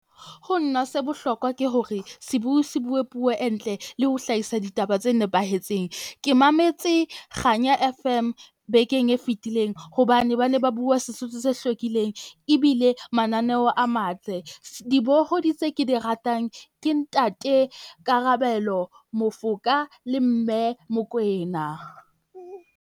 Ho nna se bohlokwa ke hore sibui se bue puo e ntle le ho hlahisa ditaba tse nepahetseng. Ke mametse kganya F_M bekeng e fetileng, hobane ba ne ba bua Sesotho se hlwekileng. Ebile mananeo a matle dibohodi tse ke di ratang ke ntate Karabelo, Mofoka le Mme Mokoena.